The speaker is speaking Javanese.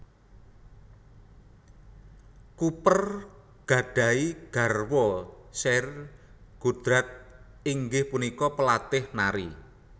Cooper gadhahi garwa Sheryl Goddard inggih punika palatih nari